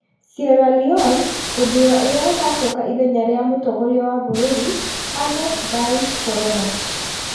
Sierra Leone gũthuura ũrĩa ũgaacoka ithenya rĩa mũtongoria wa bũrũri, Ernest Bai Koroma.